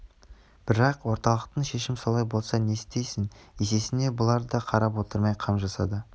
бірақ орталықтың шешім солай болса не істейсің есесіне бұлар да қарап отырмай қам жасады